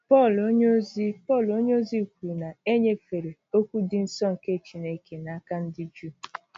Pọl onyeozi Pọl onyeozi kwuru na e nyefere “ okwu dị nsọ nke Chineke ” n’aka ndị Juu.